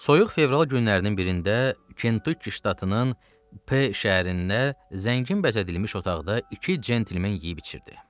Soyuq fevral günlərinin birində Kentukki ştatının P şəhərində zəngin bəzədilmiş otaqda iki centlmen yeyib içirdi.